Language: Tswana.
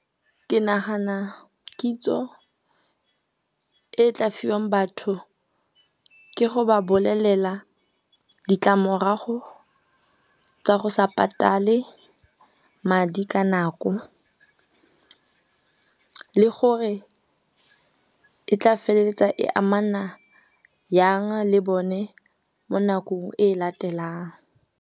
Ke nagana kitso e tla fiwang batho ke go ba bolelela ditlamorago tsa go sa patale madi ka nako le gore e tla feleletsa e amana yang le bone mo nakong e e latelang.